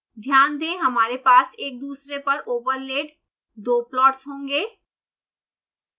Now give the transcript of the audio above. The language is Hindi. ध्यान दें हमारे पास एक दूसरे पर ओवरलेड दो प्लाट्स होंगे